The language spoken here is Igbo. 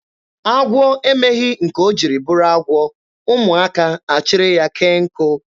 Agwọ emeghị nke o jiri bụrụ agwọ, ụmụaka a chịrị ya kee nkụ.